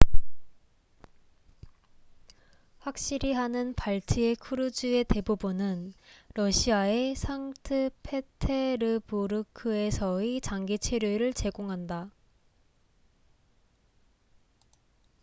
확실히 하는 발트해 크루즈의 대부분은 러시아의 상트페테르부르크에서의 장기 체류를 제공한다